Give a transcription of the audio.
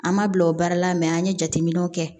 An ma bila o baara la an ye jateminɛw kɛ